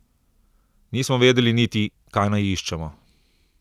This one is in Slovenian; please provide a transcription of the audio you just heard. Nismo vedeli niti, kaj naj iščemo.